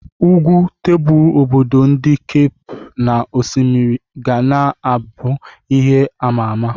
Ugwu tebul obodo ndi Kape na osimiri ga na abụ ihe ama ama.